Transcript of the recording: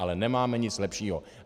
Ale nemáme nic lepšího.